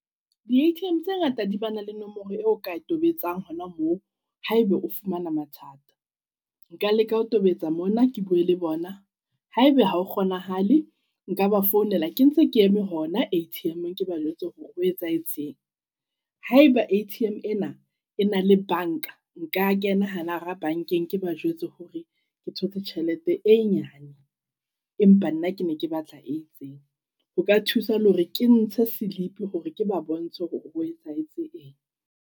Di-A_T_M tse ngata di bana le nomoro eo o ka e tobetsang hona moo ha e be o fumana mathata. Nka leka ho tobetsa mona ke bue le bona ha e be hao kgonahale nka ba founela ke ntse ke eme hona A_T_M-eng ke ba jwetse hore ho etsahetseng. Haeba A_T_M ena e na le bank-a, nka kena hana re bank-eng. Ke ba jwetse hore ke thotse tjhelete e nyane, empa nna ke neke batla e itseng. Ho ka thusa le hore ke ntshe slip hore ke ba bontshe hore ho etsahetse eng.